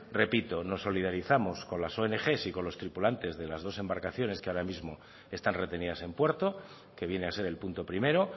repito nos solidarizamos con las ong y con los tripulantes de las dos embarcaciones que ahora mismo están retenidas en puerto que viene a ser el punto primero